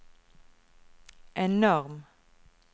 enorm